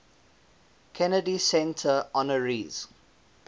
kennedy center honorees